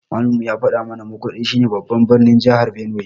Malamin mu ya faɗa mu na Makurdi shi ne babban birnin jahar Benue